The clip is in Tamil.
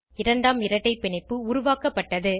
இரண்டாம் இரட்டை பிணைப்பு உருவாக்கப்பட்டது